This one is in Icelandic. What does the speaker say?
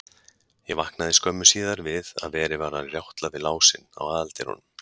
Ég vaknaði skömmu síðar við að verið var að rjátla við lásinn á aðaldyrunum.